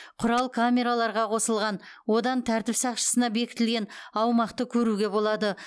құрал камераларға қосылған одан тәртіп сақшысына бекітілген аумақты көруге болады